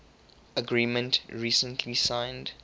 agreement recently signed